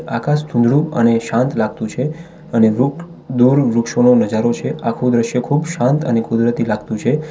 આકાશ ધુંધડુ અને શાંત લાગતું છે અને દૂર વૃક્ષોનું નજારો છે આખો દૃશ્ય ખૂબ શાંત અને કુદરતી લાગતું છે.